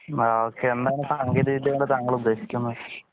ഹാ ഓക്കേ എന്താണ് സാങ്കേതിക വിദ്യ കൊണ്ട് താങ്കൾ ഉദേശിക്കുന്നത്